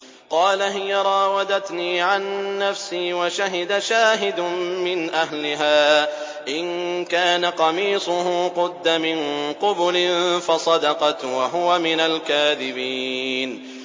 قَالَ هِيَ رَاوَدَتْنِي عَن نَّفْسِي ۚ وَشَهِدَ شَاهِدٌ مِّنْ أَهْلِهَا إِن كَانَ قَمِيصُهُ قُدَّ مِن قُبُلٍ فَصَدَقَتْ وَهُوَ مِنَ الْكَاذِبِينَ